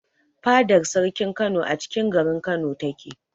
Fadar sarkin Kano acikin garin Kano ta ke